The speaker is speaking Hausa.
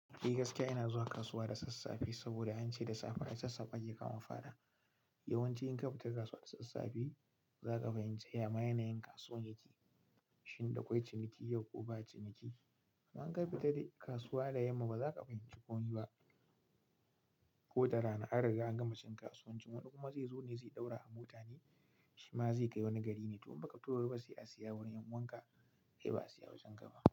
Eh gaskiya ina zuwa kasuwa da sassafe saboda an ce da safe asassafe ake kama fara. Yawanci in ka fita kasuwa da sassafe, zaka fahimci yama yanayin kasuwan yake, shin dakwai ciniki yau ko ba ciniki. Inka fita da kasuwa da yamma baza ka fahimci kompe ba. Ko da rana an riga an gama cin kasuwancin wani kuma zai zo ne zai ɗaura a mota ne shi ma zai kai wani gari ne, to in baka fito da wuri ba sai a siya wurin yan'uwanka. Kai ba a siya wajen kaba.